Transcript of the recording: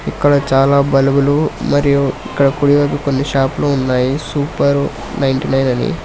ఇక్కడ చాలా బల్బులు మరియు ఇక్కడ కుడివైపు కొన్ని షాపులు ఉన్నాయి సూపర్ నైంటీనైన్ అని.